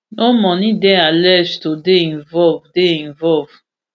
no money dey alleged to dey involve dey involve